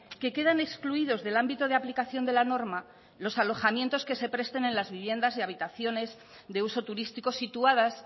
que quedan excluidos del ámbito de aplicación de la norma los alojamientos que se presten en las viviendas de habitaciones de uso turístico situadas